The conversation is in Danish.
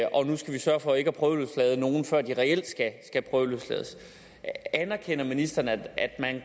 vi sørge for ikke at prøveløslade nogen før de reelt skal prøveløslades anerkender ministeren at at man jo